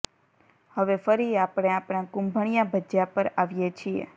હવે ફરી આપણે આપણા કુંભણિયા ભજિયા પર આવીએ છીએ